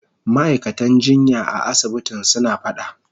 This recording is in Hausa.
Ma'aikatan jinya a asibitin suna fada.